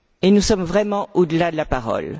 Nous sommes vraiment au delà de la parole.